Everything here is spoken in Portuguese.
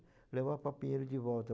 Levava para Pinheiros de volta.